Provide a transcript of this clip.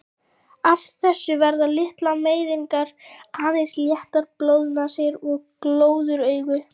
Af þessu verða litlar meiðingar, aðeins léttar blóðnasir og glóðaraugu.